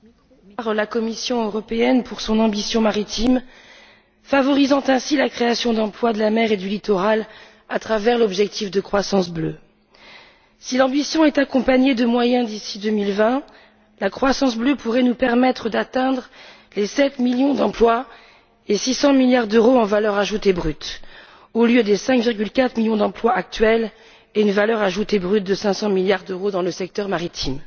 Monsieur le Président, une fois n'est pas coutume, je tiens à féliciter la Commission européenne pour son ambition maritime favorisant ainsi la création d'emplois de la mer et du littoral, à travers l'objectif de croissance bleue. Si l'ambition est accompagnée de moyens, d'ici 2020, la croissance bleue pourrait nous permettre d'atteindre 7 millions d'emplois et 600 milliards d'euros en valeur ajoutée brute au lieu des 5,4 millions d'emplois actuels et d'une valeur ajoutée brute de 500 milliards d'euros dans le secteur maritime.